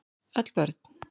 Öll börn